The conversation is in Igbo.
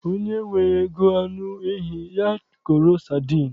Onye enweghị ego anụ ehi, ya goro sadin